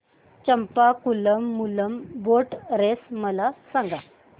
Champakulam Moolam boat race मला सांग